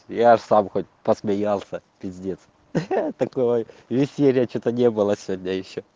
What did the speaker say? я сам посмеялся пиздец такой веселья что-то не было сегодня ещё